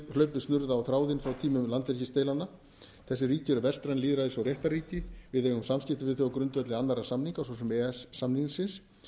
hlaupið snurða á þráðinn frá tímum landhelgisdeilnanna þessi ríki eru vestræn lýðræðis og réttarríki við eigum samskipti við þau á grundvelli annarra samninga svo sem e e s samningsins